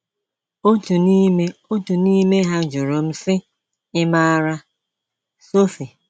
Otu n’ime Otu n’ime ha jụrụ m sị, “ Ị̀ maara Sophie?